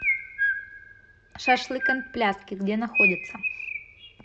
шашлык энд пляски где находится